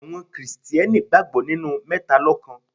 Àwọn Kristẹni gbàgbọ́ nínú mẹ́talọ́kan.